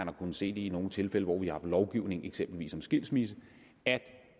har kunnet se i nogle tilfælde hvor vi har lovgivning eksempelvis om skilsmisse at